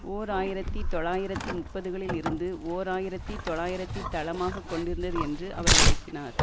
ஓர் ஆயிரத்தி தொள்ளாயிரத்தி முப்பதுகளில் இருந்து ஓர் ஆயிரத்தி தொள்ளாயிரத்தி தளமாக கொண்டிருந்தது என்று அவர் விளக்கினார்